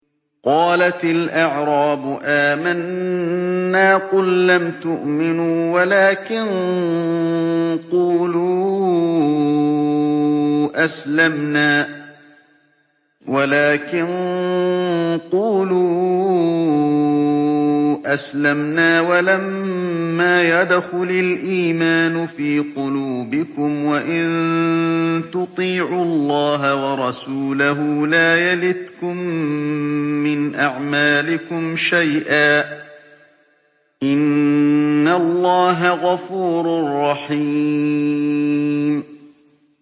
۞ قَالَتِ الْأَعْرَابُ آمَنَّا ۖ قُل لَّمْ تُؤْمِنُوا وَلَٰكِن قُولُوا أَسْلَمْنَا وَلَمَّا يَدْخُلِ الْإِيمَانُ فِي قُلُوبِكُمْ ۖ وَإِن تُطِيعُوا اللَّهَ وَرَسُولَهُ لَا يَلِتْكُم مِّنْ أَعْمَالِكُمْ شَيْئًا ۚ إِنَّ اللَّهَ غَفُورٌ رَّحِيمٌ